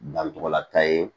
Dancogo la taa ye